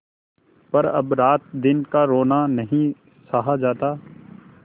पर अब रातदिन का रोना नहीं सहा जाता